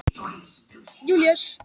Þetta hafði mikil áhrif á mig.